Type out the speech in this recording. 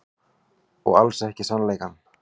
Og alls ekki sannleikann.